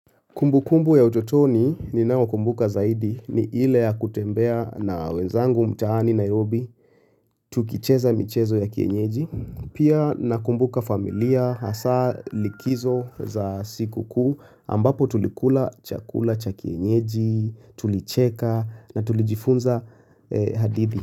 Kumbu kumbu ya utotoni ninaokumbuka zaidi ni ile ya kutembea na wenzangu mtaani Nairobi tukicheza michezo ya kienyeji. Pia nakumbuka familia hasa likizo za siku kuu ambapo tulikula chakula cha kienyeji, tulicheka na tulijifunza hadithi.